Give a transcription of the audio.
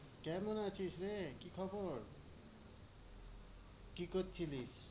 কেমন আছিস রে, কি খবর কি করছিলিস?